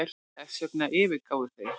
Þessvegna yfirgáfu þeir